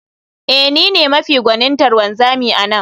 Ee, ni ne mafi gwanintar wanzami a nan